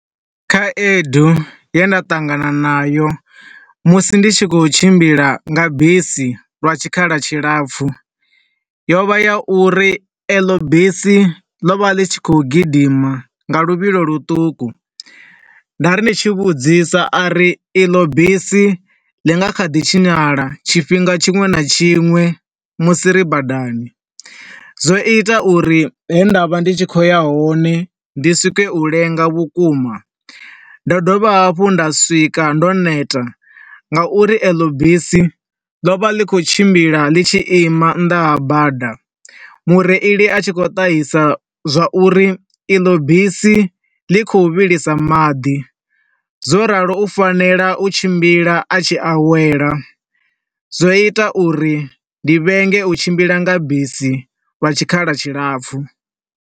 Khaedu ye nda ṱangana na yo, musi ndi tshi khou tshimbila nga bisi lwa tshikhala tshilapfu yo vha ya uri eḽo bisi ḽovha ḽi tshi khou gidima nga luvhilo lu ṱuku. Nda ri ndi tshi vhudzisa, a ri e ḽo bisi ḽi nga ḓi tshinyala tshifhinga tshinwe na tshinwe musi ri badani. Zwo ita uri he nda vha ndi tshi khou ya hone ndi swike u lenga vhukuma. Ndo dovha hafhu nda swika ndo neta, nga uri eḽo bisi ḽo vha ḽi tshi khou tshimbila ḽi tshi ima nnḓa ha bada, mureili a tshi khou ṱahisa zwauri eḽo bisi ḽi khou vhilisa maḓi, zwo ralo u fanela u tshimbila a tshi awela. Zwo ita uri ndi vhenge u tshimbila nga bisi lwa tshikhala tshi lapfu.